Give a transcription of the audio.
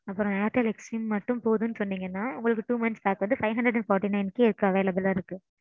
அப்பறோம் airtel xstream மட்டும் போதும்னு சொன்னீங்கன்னா. உங்களுக்கு two monthly pack வந்து five hundred and forty nine க்கே இப்ப available ஆ இருக்கு